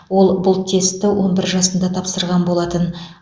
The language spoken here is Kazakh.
ол бұл тестті он бір жасында тапсырған болатын